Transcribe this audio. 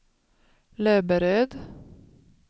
Löberöd